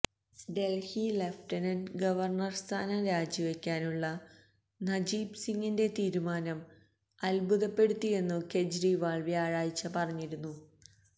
Delhi lieutenant governor സ്ഥാനം രാജിവയ്ക്കാനുള്ള നജീബ് സിംഗിന്റെ തീരുമാനം അത്ഭുതപ്പെടുത്തിയെന്നു കേജരിവാള് വ്യാഴാഴ്ച പറഞ്ഞിരുന്നു